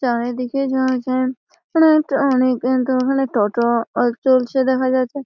চারিদিকে ঝরঝর মানে এটা অনেক ধরনের টোটো অ চলছে দেখা যাচ্ছে--